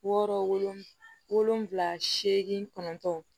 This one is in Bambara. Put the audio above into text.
Wɔɔrɔ wolonwula wolonwula seegin kɔnɔntɔn